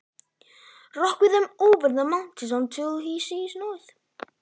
Björg með þeim um fjöllin uns sá norður af.